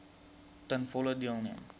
ten volle deelneem